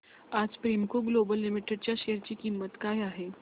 आज Premco Global Limited च्या share ची किंमत काय आहे